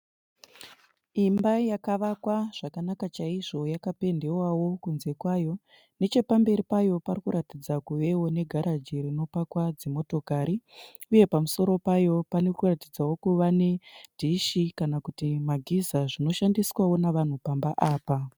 Imba yakavakwa zvakanaka chaizvo yakapendewawo kunze kwayo. Neche pamberi payo pari kuratidza kuvewo negaraji rinopakwa dzimotokari , uye pamusoro payo parikuratidzawo kuva nedhishi kana kuti magiza zvinoshandiswawo navanhu pamba apa.